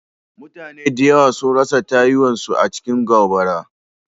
Mutane da yawa sun rasa tayuwa su a cikin gobara.